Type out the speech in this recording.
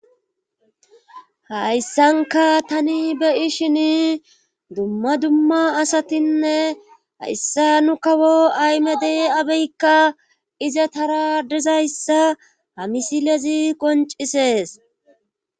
hayssanka tani be7ishini dumma dumma asatinne hayssa nu kawo ahmede abiykka izatara dizayssa ha misilezi qoncisees